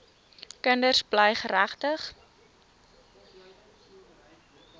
kinders bly geregtig